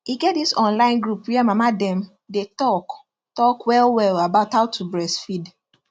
e get this online group where mama dem day talk talk well well about how to breastfeed